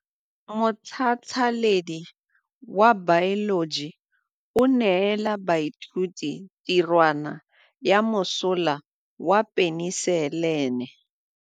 Motlhatlhaledi wa baeloji o neela baithuti tirwana ya mosola wa peniselene.